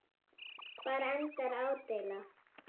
Hvar endar ádeila?